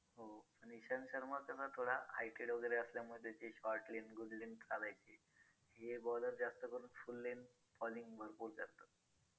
वेगळवेगळं प्रकार आहेत आपल्याकडं ते आपण घेऊ शकतो.पण बरोबर आपल्या beauty वरती पण खूप हे आहे result आहे.